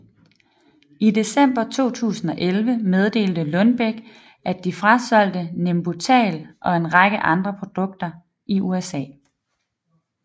I december 2011 meddelte Lundbeck at de frasolgte Nembutal og en række andre produkter i USA